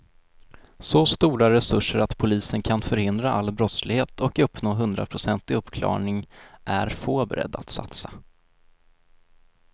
Så stora resurser att polisen kan förhindra all brottslighet och uppnå hundraprocentig uppklarning är få beredda att satsa.